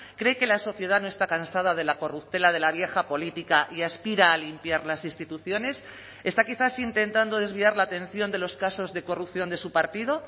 cree que la sociedad no está cansada de la corruptela de la vieja política y aspira a limpiar las instituciones está quizás intentando desviar la atención de los casos de corrupción de su partido